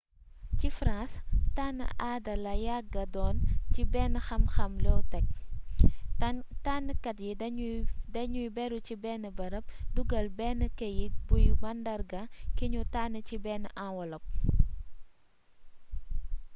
ci france tann aada la yagga doon ci bénn xam xam low-tech tannkat yi dañuy béru ci bénn beereep dugeel benn keyit buy mandarga ki ñu tànn ci beenn enwelop